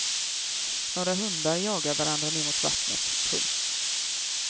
Några hundar jagar varandra ner mot vattnet. punkt